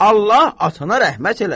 Allah atana rəhmət eləsin.